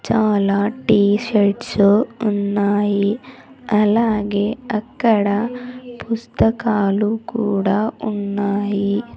చాలా T shirts ఉన్నాయి అలాగే అక్కడ పుస్తకాలు కూడా ఉన్నాయి.